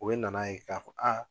O be na na ye ka fɔ aa